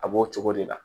A b'o cogo de la